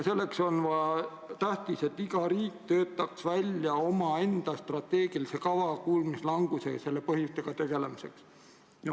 Selleks on tähtis, et iga riik töötaks välja omaenda strateegia kuulmislanguse ja selle põhjustega tegelemiseks.